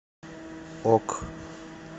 ок